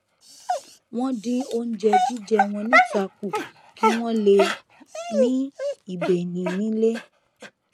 wọn dín oúnjẹ jíjẹ wọn níta kù kí wọn lè ní ìbénìí nílé